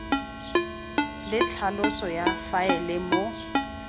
le tlhaloso ya faele moo